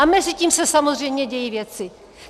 A mezitím se samozřejmě dějí věci.